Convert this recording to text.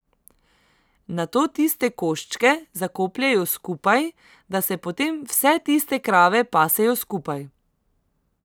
Nato tiste koščke zakopljejo skupaj, da se potem vse tiste krave pasejo skupaj.